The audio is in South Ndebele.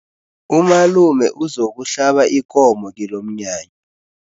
Umalume uzokuhlaba ikomo kilomnyanya.